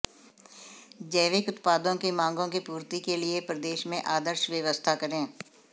जैविक उत्पादों की माँगों की पूर्ति के लिये प्रदेश में आदर्श व्यवस्था करें